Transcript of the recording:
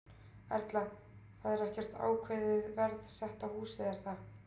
Erla: Það er ekkert ákveðið verð sett á húsið, er það?